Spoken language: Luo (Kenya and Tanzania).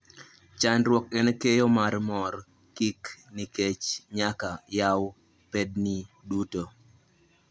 Chandruok en keyo mar mor kick nikech nyaka yaw pedni duto